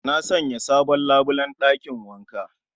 Na Sanya sabon labulen ɗakin wanka